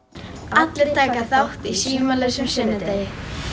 allir taka þátt í símalausum sunnudegi